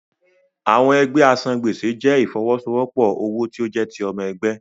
Àwọn ẹgbẹ́ asan-gbèsè jẹ́ ìfọwọ́sowọ́pọ̀ owó tí ó jẹ́ ti ọmọ ẹgbẹ́.